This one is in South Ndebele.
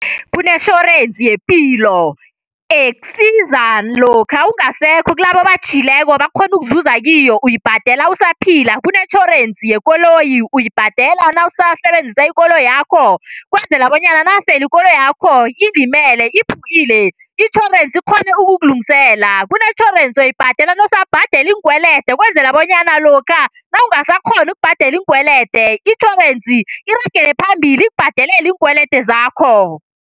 Kunetjhorensi yepilo ekusiza lokha ungasekho kilabo obatjhiyileko bakghone ukuzuza kiyo, uyibhadela usaphila, kunetjhorensi yekoloyi, uyibhadela nawusasebenzisa ikoloyakho ukwenzela bonyana nasele ikoloyakho ilimele, iphukile, itjhorensi ikghone ukukulungisela. Kunetjhorensi ebhadelwa nawusabhadela iinkwelede ukwenzela bonyana lokha nawungasakghoni ukubhadela iinkwelede, itjhorensi iragele phambili ikubhadelele iinkwelede zakho.